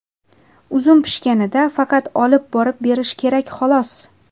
Uzum pishganida faqat olib borib berish kerak, xolos.